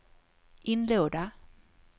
inlåda